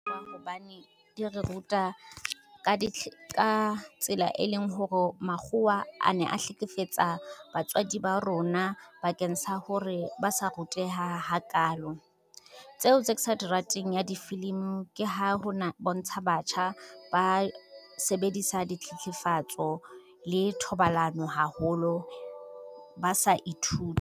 Hobane di re ruta ka tsela, e leng hore makgowa a ne a hlekefetsa batswadi ba rona bakeng sa hore ba sa ruteha ha kalo. Tseo tse ke sa di rateng ya difilimi ke ha ho bontsha batjha ba sebedisa ditlhetlhefatso le thobalano haholo, ba sa ithute.